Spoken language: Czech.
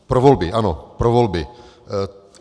Pro volby, ano pro volby.